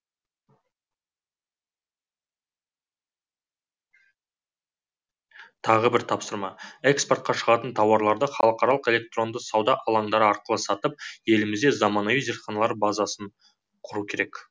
тағы бір тапсырма экспортқа шығатын тауарларды халықаралық электронды сауда алаңдары арқылы сатып елімізде заманауи зертханалық база құру керек